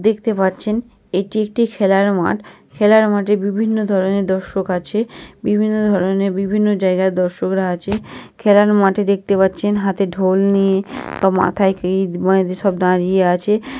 দেখতে পাচ্ছেন এটি একটি খেলার মাঠ। খেলার মাঠের বিভিন্ন ধরনের দর্শক আছে বিভিন্ন ধরনের বিভিন্ন জায়গায় দর্শকরা আছে। খেলার মাঠে দেখতে পাচ্ছেন হাতে ঢোল নিয়ে বা মাথায় কি সব দাঁড়িয়ে আছে ।